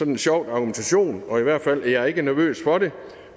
en sjov argumentation og i hvert fald er jeg ikke nervøs for det